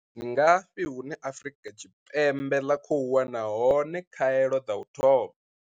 Ndi ngafhi hune Afrika Tshipembe ḽa khou wana hone khaelo dza u thoma?